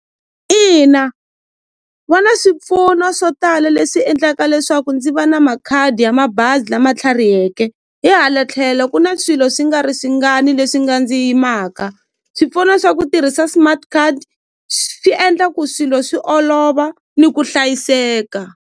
Ina va na swipfuno swo tala leswi endlaka leswaku ndzi va na makhadi ya mabazi lama tlhariheke hi hala tlhelo ku na swilo swi nga ri swi ngani leswi nga ndzi yimaka swipfuno swa ku tirhisa smart card swi endla ku swilo swi olova ni ku hlayiseka.